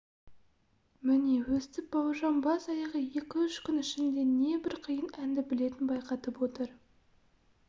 міне өстіп бауыржан бас-аяғы екі-үш күн ішінде небір қиын әнді білетінін байқатып отыр